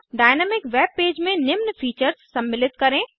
dynamic web page में निम्न features सम्मिलित करें